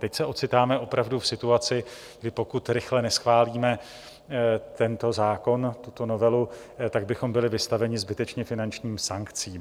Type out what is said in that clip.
Teď se ocitáme opravdu v situaci, kdy pokud rychle neschválíme tento zákon, tuto novelu, tak bychom byli vystaveni zbytečně finančním sankcím.